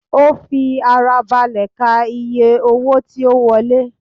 Ó fi ara balẹ̀ ka iye owó tí ó wọlé